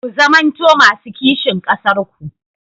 Ku zamanto masu kishin ƙasarku.